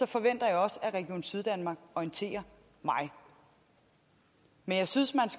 forventer jeg også at region syddanmark orienterer mig men jeg synes